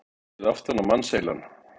Séð aftan á mannsheilann.